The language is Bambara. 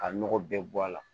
Ka nɔgɔ bɛɛ bɔ a la